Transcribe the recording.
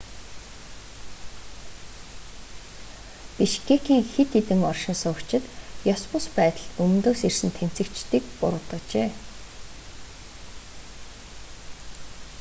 бишкекийн хэд хэдэн оршин суугчид ёс бус байдалд өмнөдөөс ирсэн тэмцэгчдийг буруутгажээ